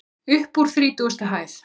Uppúr þrítugustu hæð.